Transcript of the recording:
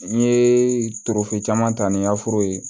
N ye tofi caman ta ni yaforo ye